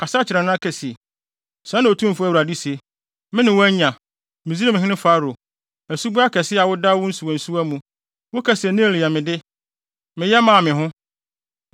Kasa kyerɛ no na ka se: ‘Sɛɛ na Otumfo Awurade se. “ ‘Me ne wo anya, Misraimhene Farao asuboa kɛse a woda wo nsuwansuwa mu.’ ” Woka se, “Nil yɛ mede; meyɛ maa me ho.”